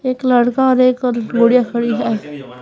एक लड़का और एक और बुढ़िया खड़ी है।